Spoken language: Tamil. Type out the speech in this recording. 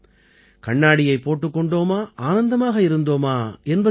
கண்ணாடியைப் போட்டுக் கொண்டோமா ஆனந்தமாக இருந்தோமா என்பதல்ல